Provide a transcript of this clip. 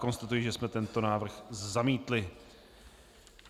Konstatuji, že jsme tento návrh zamítli.